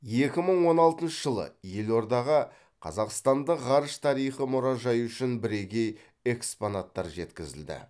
екі мың он алтыншы жылы елордаға қазақстандық ғарыш тарихы мұражайы үшін бірегей экспонаттар жеткізілді